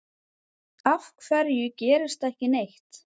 Af hverju gerist ekki neitt?